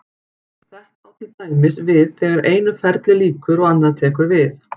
þetta á til dæmis við þegar einu ferli lýkur og annað tekur við